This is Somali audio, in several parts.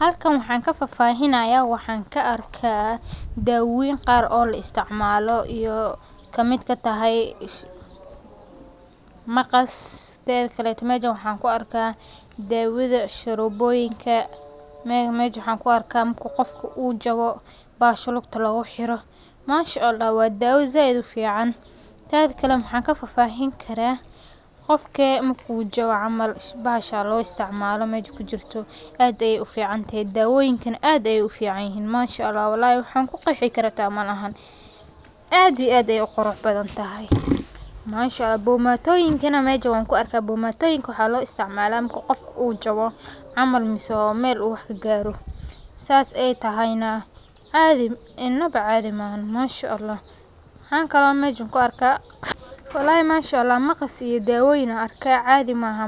Halkaan waxaan ka faahfaahinayaa waxaan arkaa dawooyin qaar oo la isticmaalo oo ay ka mid tahay maqas. Teda kale, meeshaan waxaan ku arkaa dawooyinka sharoboyinka. Sidoo kale, meeshaan waxaan ku arkaa marka qofka uu jabo, bahasha lugta looga xiro. Masha Allah waa dawo aad u fiican. Teda kale, maxaan ka faahfaahin karaa qofka marka uu jabo, bahasha loo isticmaalo meesha ku jirto. Dawooyinkana aad ayay u fiican yihiin masha Allah. Wallaahi xitaa waa meel aan ku qanci karo, xitaa malahan; aad iyo aad ayay u qurux badan tahay, masha Allah. Bombooyinka meesha waan ku arkaa. Bombooyada maxaa loo isticmaalaa marka qofka uu jabo ama meel wax ka gaarto? Saas ayay tahay, inaba caadi ma aha, masha Allah. Waxa kale oo meeshaan ku arkaa maqas iyo dawooyin ayaan arkaa. Caadi ba ma aha.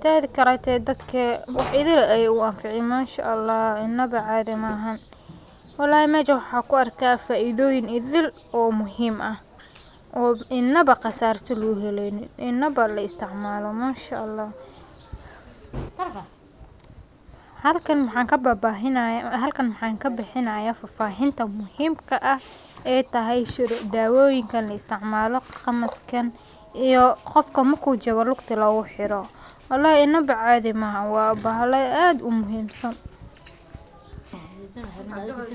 Teda kale, dadka aad bay ugu anficiin, masha Allah, inaba caadi ma aha wallaahi. Meeshaan waxaan ku arkaa faa’iidooyin idil oo muhiim ah oo inaba qasaare laga helaynin in la isticmaalo, masha Allah. Halkaan waxaan ka bixinayaa faahfaahinta muhiimka ah ee ay tahay dawooyinka la isticmaalo ama kan qofka marka uu jabto lugta looga xiro. Wallaahi inaba caadi ma aha, waa bahal aad u muhiim ah.